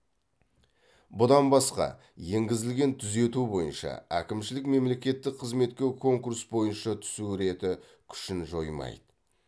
бұдан басқа енгізілген түзету бойынша әкімшілік мемлекеттік қызметке конкурс бойынша түсу реті күшін жоймайды